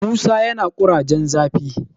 musa yana kurajen zafi